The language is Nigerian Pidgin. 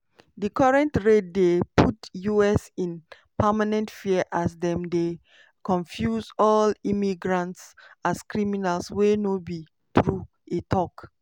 "di current raid dey put us in permanent fear as dem dey confuse all immigrants as criminals wey no be true" e tok.